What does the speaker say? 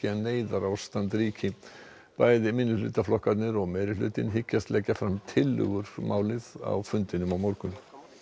að neyðarástand ríkti bæði minnihlutaflokkarnir og meirihlutinn hyggjast leggja fram tillögur um málið á fundinum á morgun